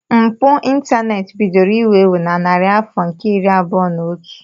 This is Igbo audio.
Mpụ ịntaneti bidoro iwu ewu na narị afọ nke iri abụọ na otu.